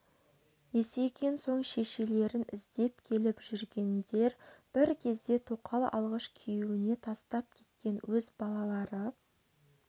есейген соң шешелерін іздеп келіп жүргендер бір кезде тоқал алғыш күйеуіне тастап кеткен өз балалары